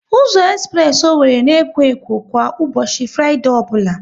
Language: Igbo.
Ụzọ espress Owerri na ekwo ekwo kwa ụbọchị Fraịdee ọbụla